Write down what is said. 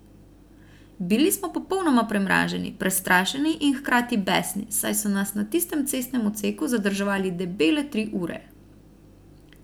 Bili smo popolnoma premraženi, prestrašeni in hkrati besni, saj so nas na tistem cestnem odseku zadrževali debele tri ure.